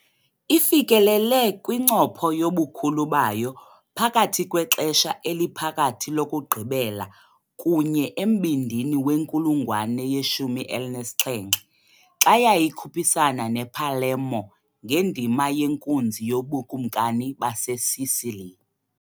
Ifikelele kwincopho yobukhulu bayo phakathi kweXesha eliPhakathi lokugqibela kunye embindini wenkulungwane ye-17, xa yayikhuphisana nePalermo ngendima yenkunzi yobukumkani baseSicily.